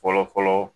Fɔlɔ fɔlɔ